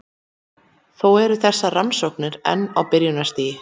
Þó eru þessar rannsóknir enn á byrjunarstigi.